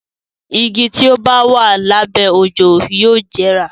Igi tí ó bá wà lábẹ́ òjò yóò jẹrà.